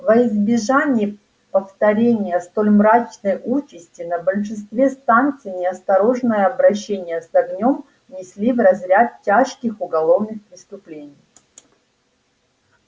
во избежание повторения столь мрачной участи на большинстве станций неосторожное обращение с огнём внесли в разряд тяжких уголовных преступлений